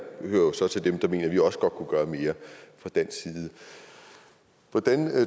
hører jo så til dem der mener at vi også godt kunne gøre mere fra dansk side hvordan